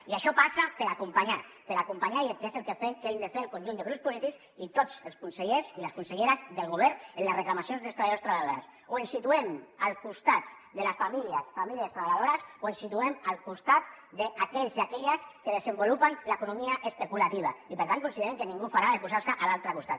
i això passa per acompanyar per acompanyar que és el que fem el que hem de fer el conjunt de grups polítics i tots els consellers i les conselleres del govern en les reclamacions dels treballadors i treballadores o ens situem al costat de les famílies famílies treballadores o ens situem al costat d’aquells i aquelles que desenvolupen l’economia especulativa i per tant consideren que ningú ho farà de posar se a l’altre costat